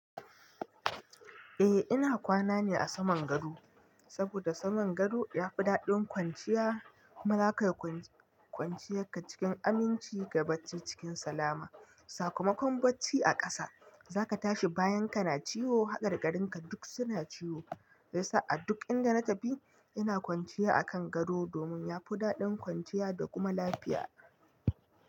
Eh ina kwana ne a saman gado, saboda saman gado yafi daɗin kwanciya. Kuma zaka kwanciye ka cikin aminci, gabacci cikin salama. Sakamakon bacci a ƙasa zaka tashi bayan ka na ciwo, haɗar ƙarin ka duk suna ciwo. Sai sa'ad duk inda na tafi ina kwanciya a kan gado, domin yafi daɗin kwanciya da kuma lafiya.